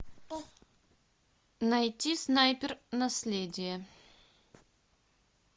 найти снайпер наследие